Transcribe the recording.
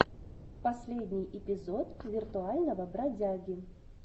последний эпизод виртуального бродяги